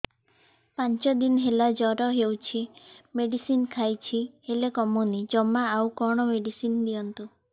ପାଞ୍ଚ ଦିନ ହେଲା ଜର ହଉଛି ମେଡିସିନ ଖାଇଛି ହେଲେ କମୁନି ଜମା ଆଉ କଣ ମେଡ଼ିସିନ ଦିଅନ୍ତୁ